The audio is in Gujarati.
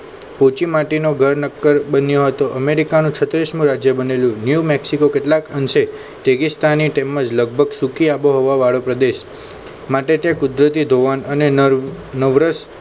પોચી માટી નો ઘર નક્કર બન્યો હતો અમેરિકા નો છત્રીશ મો રાજ્ય બનેલું ન્યુ મેક્સિકો કેટલાક અંશે તેગીસ્થાની તેમજ લગભગ સુખી આબોહવા વાળો પ્રદેશ માટે તે કુદરતી ધોવાણ અને નવરસ